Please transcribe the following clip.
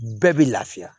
Bɛɛ bɛ lafiya